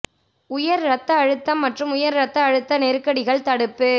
உயர் இரத்த அழுத்தம் மற்றும் உயர் இரத்த அழுத்த நெருக்கடிகள் தடுப்பு